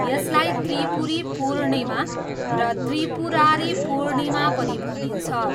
यसलाई त्रिपुरी पूर्णिमा र त्रिपुरारी पूर्णिमा पनि भनिन्छ।